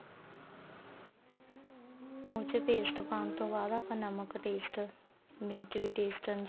ਉਸ ਚ paste ਪਾਣ ਤੋਂ ਬਾਅਦ ਆਪਾਂ ਨਮਕ taste ਮਿਰਚ ਵੀ taste ਅਨੁਸਾਰ